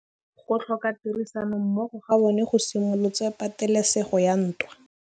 Go tlhoka tirsanommogo ga bone go simolotse patêlêsêgô ya ntwa.